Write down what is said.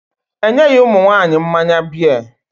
E nyeghị ụmụ nwaanyị mmanya bịa.